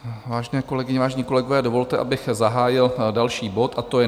Vážené kolegyně, vážení kolegové, dovolte, abych zahájil další bod, a to je